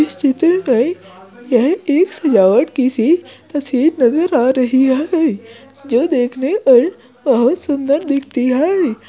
इस चित्र में यह एक की सी तस्वीर नजर आ रही है जो देखने पर बहुत सुंदर दिखती है।